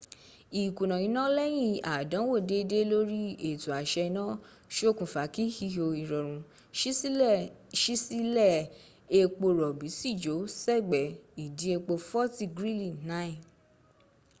ìkùnà iná lẹ́yìn àdánwò dédé lóri ètò àṣẹ-iná ṣokùnfa kí ihò ìrọ̀rùn ṣí sílẹ̀ epo rọ̀bí sì jò sẹ́gbẹ́ ìdí epo forti grili 9